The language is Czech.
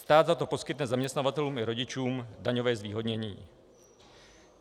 Stát za to poskytne zaměstnavatelům i rodičům daňové zvýhodnění.